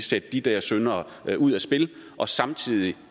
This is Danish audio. sætte de der syndere ud af spil og samtidig